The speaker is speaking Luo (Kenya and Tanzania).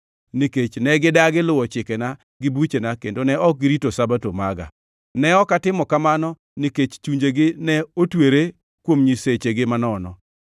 nikech ne gidagi luwo chikena gi buchena kendo ne ok girito Sabato maga. Ne ok atimo kamano nikech chunjegi ne otwere kuom nyisechegi manono.